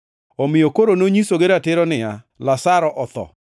Omiyo koro nonyisogi ratiro niya, “Lazaro otho,